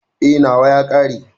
E, nawa ya ƙare.